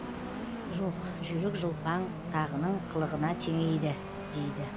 жоқ жүйрік жылпаң тағының қылығына теңейді дейді